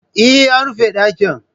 Eh, an rufe ɗakin